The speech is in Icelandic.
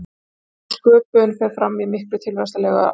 Og þessi sköpun fer fram í miklum tilvistarlegum átökum.